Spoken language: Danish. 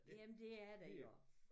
Jamen det er der jo